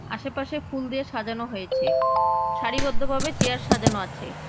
আশেপাশে ফুল দিয়ে সাজানো হয়েছে সারিবদ্ধ ভাবে চেয়ার সাজানো আছে।